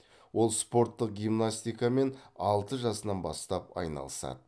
ол спорттық гимнастикамен алты жасынан бастап айналысады